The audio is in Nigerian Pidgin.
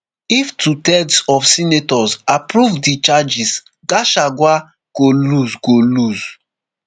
if twothirds of senators approve di charges gachagua go lose go lose